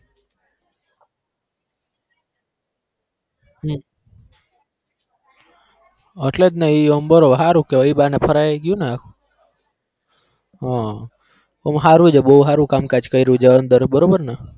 હમ એટલે જ ને ઈ આમ બરાબર હારું કહેવાય એ બહાને ફરાઈ એ ગયુંને હમ આમ હારું છે બહુ હારું કામકાજ કર્યુ છે અંદર બરોબર ને?